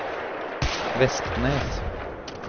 Vestnes